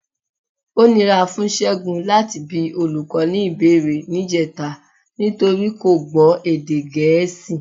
Ó nira fún Ṣẹ́gun láti bi olùkọ́ ní ìbéèrè níjẹta nítorí kò gbọ́ èdè Gẹ̀ẹ́sì.